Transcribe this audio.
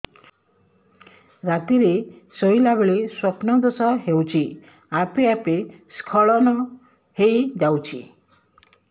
ରାତିରେ ଶୋଇଲା ବେଳେ ସ୍ବପ୍ନ ଦୋଷ ହେଉଛି ଆପେ ଆପେ ସ୍ଖଳନ ହେଇଯାଉଛି